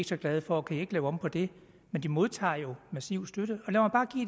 så glade for kan i ikke lave om på det men de modtager jo massiv støtte